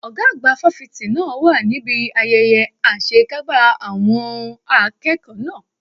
Ọ̀gá àgbà fáfitì náà wà níbi ayẹyẹ àṣekágbá àwọn n akẹ́kọ̀ọ́ náà.